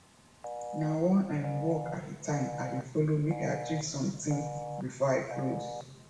na one um work at a time i dey follow mek i achieve somtin bifor i close